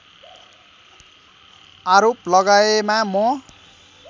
आरोप लगाएमा म